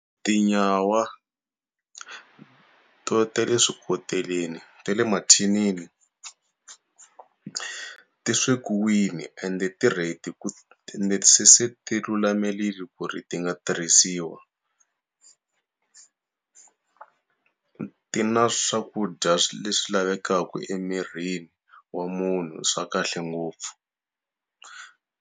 Tinyawa ta le swikoteleni ta le mathinini, ti swekiwile ende ti ready ku se ti lulamirile ri ku ri ti nga tirhisiwa. ti na swakudya leswi lavekaka emirini wa munhu swa kahle ngopfu.